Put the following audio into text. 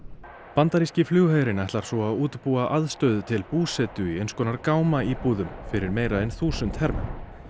bandaríski flugherinn ætlar svo að útbúa aðstöðu til búsetu í eins konar fyrir meira en þúsund hermenn